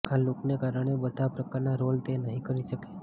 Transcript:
આ લુકને કારણે બધા પ્રકારના રોલ તે નહીં કરી શકે